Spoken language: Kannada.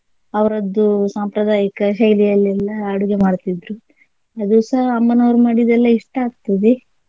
ಅವರದ್ದು ಸಾಂಪ್ರದಾಯಕ ಶೈಲಿಯಲ್ಲೆಲ್ಲಾ ಅಡುಗೆ ಮಾಡ್ತಿದ್ರು ಅದು ಸಹ ಅಮ್ಮನವರು ಮಾಡಿದೆಲ್ಲಾ ಇಷ್ಟ ಆಗ್ತದೆ.